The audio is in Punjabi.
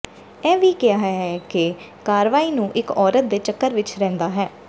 ਇਹ ਵੀ ਕਿਹਾ ਹੈ ਕਿ ਕਾਰਵਾਈ ਨੂੰ ਇੱਕ ਔਰਤ ਦੇ ਚੱਕਰ ਵਿੱਚ ਰਹਿੰਦਾ ਹੈ